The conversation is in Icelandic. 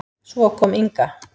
Svo kom Inga.